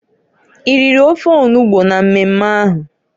I riri ofe onugbo na mmemme ahụ?